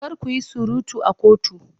Kar ku yi surutu a kotu!